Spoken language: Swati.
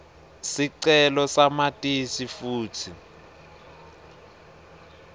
sicelo samatisi futsi